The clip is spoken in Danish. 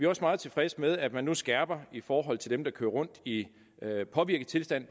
også meget tilfredse med at man nu skærper i forhold til dem der kører rundt i påvirket tilstand